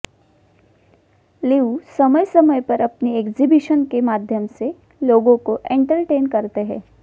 लीऊ समय समय पर अपनी एक्जीबिशन के माध्यम से लोगों को एंटरटेन करते है